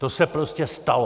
To se prostě stalo.